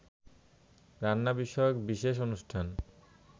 রান্না বিষয়ক বিশেষ অনুষ্ঠান